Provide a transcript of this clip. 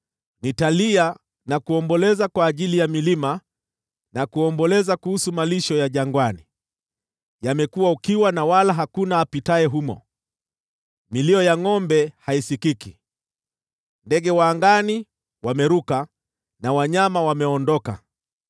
Nitalia na kuomboleza kwa ajili ya milima na kuomboleza kuhusu malisho ya jangwani. Yamekuwa ukiwa, wala hakuna apitaye humo, milio ya ngʼombe haisikiki. Ndege wa angani wametoroka na wanyama wamekimbia.